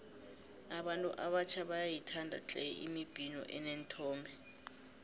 abantu abatjha bayayithanda tle imibhino eneenthombe